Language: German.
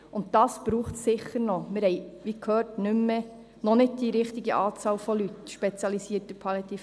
Und das wird nötig sein, denn wir haben in der Palliative Care, wie gehört, noch nicht die richtige Anzahl spezialisierter Leuten.